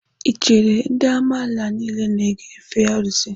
Ị chere na ndị amala niile na-efe arụsị?